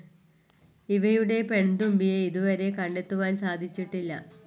ഇവയുടെ പെൺതുമ്പിയെ ഇതുവരെ കണ്ടെത്തുവാൻ സാധിച്ചിട്ടില്ല.